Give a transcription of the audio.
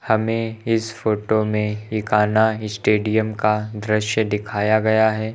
हमें इस फोटो में इकाना स्टेडियम का दृश्य दिखाया गया है।